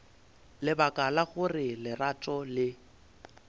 lebaka la gore lerato le